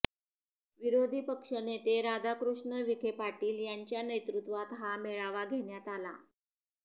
विरोधी पक्षनेते राधाकृष्ण विखेपाटील यांच्या नेतृत्वात हा मेळावा घेण्यात आला